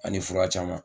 Ani fura caman